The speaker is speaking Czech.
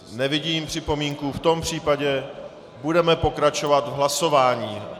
Nevidím připomínku, v tom případě budeme pokračovat v hlasování.